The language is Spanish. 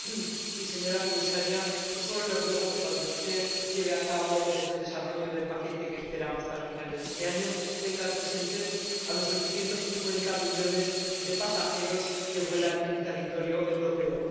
Señor Presidente, señora comisaria, yo solo le ruego que, cuando usted lleve a cabo el desarrollo del paquete que esperamos para finales de este año, tenga presentes a los 850 millones de pasajeros que vuelan en territorio europeo.